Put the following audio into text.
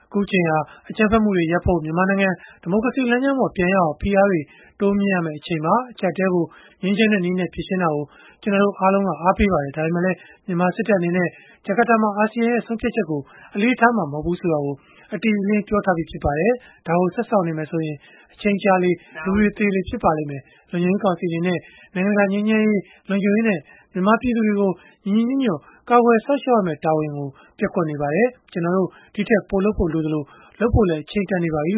ခုအချိန်ဟာ အကြမ်းဖက်မှုတွေရပ်ဖို့၊ မြန်မာနိုင်ငံ ဒီမိုကရေစီလမ်းကြောင်းပေါ် ပြန်ရောက်အောင် ဖိအားတွေ တိုးမြှင့်ရမယ့် အချိန်ပါ။ အကျပ်အတည်းကို ငြိမ်းချမ်းတဲ့နည်းနဲ့ ဖြေရှင်းတာကို ကျနော်တို့အားလုံး အားပေးပါတယ်။ ဒါပေမဲ့လည်း မြန်မာစစ်တပ်အနေနဲ့ ဂျကာတာမှာ ဆုံးဖြတ်ချက်ကို အလေးထားမှာ မဟုတ်ဘူးဆိုတာကို အတိအလင်း ပြောထားပြီး ဖြစ်ပါတယ်။ ဒါကိုဆက်စောင့်နေမယ်ဆိုရင်၊ အချိန်ကြာလေလေ၊ လူတွေသေလေ ဖြစ်လာပါလိမ့်မယ်။ လုံခြုံရေးကောင်စီ အနေနဲ့ နိုင်ငံတကာ ငြိမ်းချမ်းရေး၊ လုံခြုံရေးနဲ့ မြန်မာပြည်သူတွေကို ညီညီညွတ်ညွတ် ကာကွယ်စောင့်ရှောက်ရမယ့် တာဝန်ကို ပျက်ကွက်နေပါတယ်။ ကျနော်တို့ ဒီထက်ပိုလုပ်ဖို့ လိုအပ်သလို၊ လုပ်ဖို့လည်း အချိန်တန်နေပါပြီ။